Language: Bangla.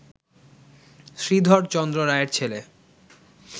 শ্রীধর চন্দ্র রায়ের ছেলে